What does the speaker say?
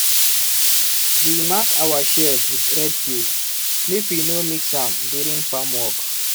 we mark our shears with red tape make we no mix am during farm work.